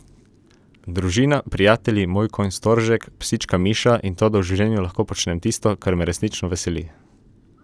Družina, prijatelji, moj konj Storžek, psička Miša in to, da v življenju lahko počnem tisto, kar me resnično veseli.